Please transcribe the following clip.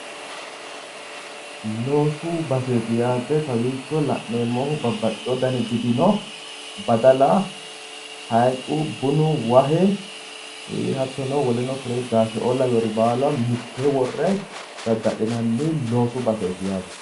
Loosu baseti babbaxino gidi noo yaate, insano haaxu, bunu, ataru, sindeo lawinorinno lowori noo daddalu baseti